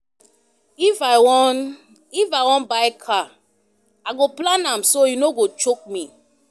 Ready your work schedule di day before di main work day